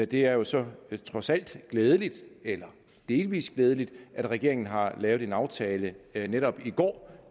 det er jo så trods alt glædeligt eller delvis glædeligt at regeringen har lavet en aftale netop i går